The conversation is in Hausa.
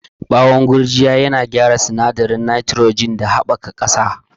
Bawon gurjiya yana gyara sinadarin nitrogen da inganta haɓakar ƙasa.